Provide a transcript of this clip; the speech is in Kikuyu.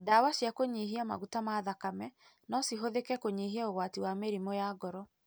Ndawa cia kũnyihia maguta ma thakeme no cihũthĩke kũnyihia ũgwati wa mĩrimũ ya ngoro.